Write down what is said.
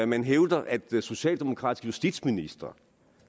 man hævder at socialdemokratiske justitsministre